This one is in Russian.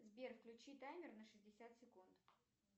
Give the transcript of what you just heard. сбер включи таймер на шестьдесят секунд